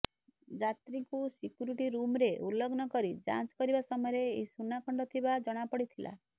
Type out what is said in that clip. ଯାତ୍ରୀଙ୍କୁ ସିକ୍ୟୁରିଟି ରୁମ୍ରେ ଉଲଗ୍ନ କରି ଯାଞ୍ଚ କରିବା ସମୟରେ ଏହି ସୁନା ଖଣ୍ଡ ଥିବା ଜଣାପଡ଼ିଥିଲା